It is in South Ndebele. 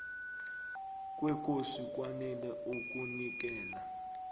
kwekosi kwanele ukunikela